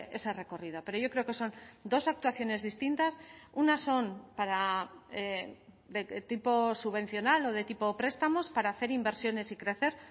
ese recorrido pero yo creo que son dos actuaciones distintas unas son para de tipo subvencional o de tipo prestamos para hacer inversiones y crecer